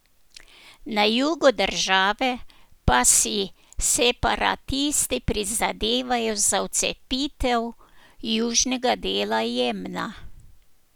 Na jugu države pa si separatisti prizadevajo za odcepitev južnega dela Jemna.